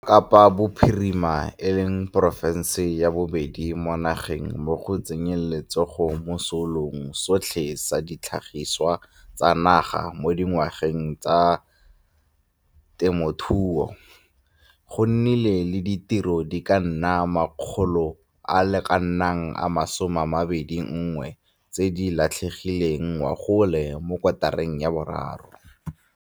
Kwa Kapa Bophirima, e leng porofense ya bobedi mo nageng mo go tsenyeng letsogo mo Seelong sotlhe sa Ditlhagiswa tsa Naga mo Ngwageng, GDP, sa temothuo, go nnile le ditiro di ka nna 21 000 tse di latlhegileng ngogola mo kotareng ya boraro.